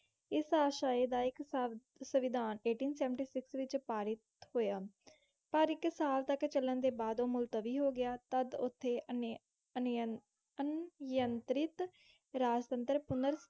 ਇਸ ਆਸ਼ਏ ਦਾ ਇੱਕ ਸੰ~ ਸੰਵਿਧਾਨ eighteen seventy six ਵਿੱਚ ਪਾਰਿਤ ਹੋਇਆ, ਪਰ ਇੱਕ ਸਾਲ ਤੱਕ ਚੱਲਣ ਦੇ ਬਾਅਦ ਉਹ ਮੁਲਤਵੀ ਹੋ ਗਿਆ। ਤਦ ਉੱਥੇ ਅਨ~ ਅਨ~ ਅਨਿਯੰਤ੍ਰਿਤ ਰਾਜਤੰਤਰ ਪੁਨਰ